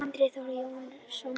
Andri Þór Jónsson